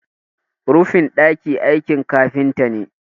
rufin daki aiki kafinta ne